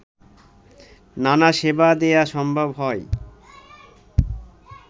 নানা সেবা দেয়া সম্ভব হয়